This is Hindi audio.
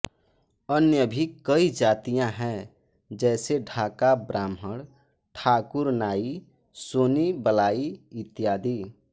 अन्य भी कई जातियाँ हैं जैसे ढाका ब्राह्मण ठाकुर नाई सोनी बलाई इत्यादि